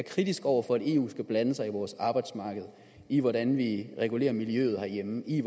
kritisk over for at eu skal blande sig i vores arbejdsmarked i hvordan vi regulerer miljøet herhjemme i